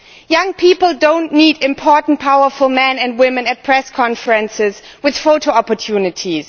Young people do not need important powerful men and women at press conferences with photo opportunities.